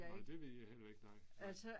Nej det ved jeg heller ikke nej nej.